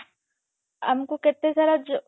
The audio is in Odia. ଆମକୁ କେତେ ସାରା ଯୋ